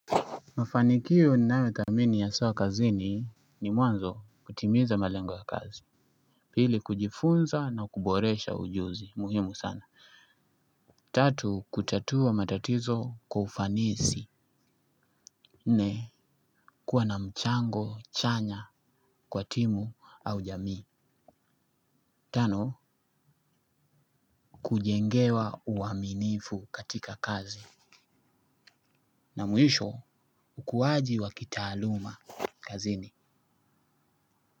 Mafanikio ninayothamini aswa kazini ni mwanzo kutimiza malengo ya kazi. Pili kujifunza na kuboresha ujuzi muhimu sana. Tatu kutatua matatizo kwa ufanisi. Nne kuwa na mchango chanya kwa timu au jamii. Tano kujengewa uaminifu katika kazi. Na mwisho ukuwaji wa kitaaluma kazini.